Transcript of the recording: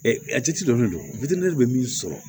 donnen don bɛ min sɔrɔ